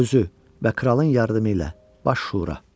Özü və kralın yardımı ilə Baş Şura.